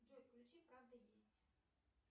джой включи правда есть